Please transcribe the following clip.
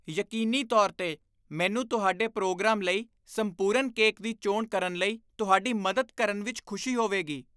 ਯਕੀਨੀ ਤੌਰ 'ਤੇ! ਮੈਨੂੰ ਤੁਹਾਡੇ ਪ੍ਰੋਗਰਾਮ ਲਈ ਸੰਪੂਰਨ ਕੇਕ ਦੀ ਚੋਣ ਕਰਨ ਲਈ ਤੁਹਾਡੀ ਮਦਦ ਕਰਨ ਵਿੱਚ ਖੁਸ਼ੀ ਹੋਵੇਗੀ।